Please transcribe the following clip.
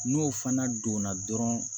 N'o fana donna dɔrɔn